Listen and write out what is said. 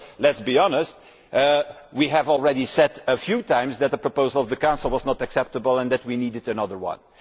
Let us be honest, we have already said a few times that the proposal of the Council is not acceptable and that we need another one.